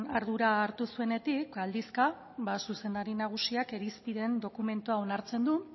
ardura hartu zuenetik aldizka zuzendari nagusiak irizpideen dokumentua onartzen du